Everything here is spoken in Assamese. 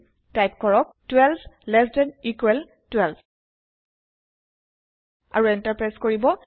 টাইপ কৰিব 12 lt 12 আৰু এন্টাৰ প্ৰেছ কৰিব